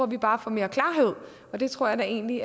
vi bare at få mere klarhed og det tror jeg da egentlig